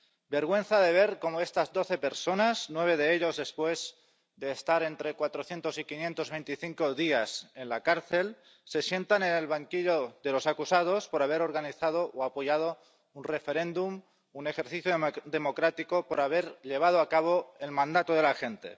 Vergüenza de ver cómo estas doce personas —nueve de ellas después de estar entre 400 y 525 días en la cárcel— se sientan en el banquillo de los acusados por haber organizado o apoyado un referéndum, un ejercicio democrático y por haber llevado a cabo el mandato de la gente.